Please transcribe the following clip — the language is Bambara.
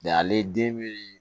ale den be